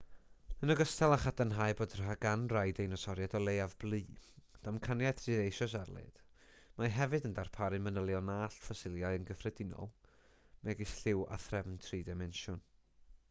yn ogystal â chadarnhau bod gan rai deinosoriaid o leiaf blu damcaniaeth sydd eisoes ar led mae hefyd yn darparu manylion na all ffosiliau yn gyffredinol megis lliw a threfn tri-dimensiwn